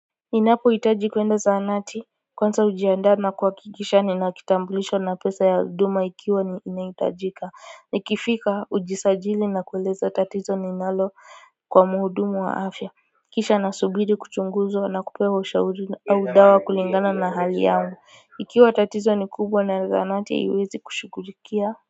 Ninapo hitaji kuenda zahanati kwanza hujianda na kuhakikisha ninakitambulisho na pesa ya huduma ikiwa ninaitajika ni kifika ujisajili na kuuliza tatizo ni inalo kwa muhudumu wa afya kisha na subiri kuchunguzwa na kupewa shauri au dawa kulingana na hali yangu ikiwa tatizo ni kubwa na zahanati iwezi kushugulikia.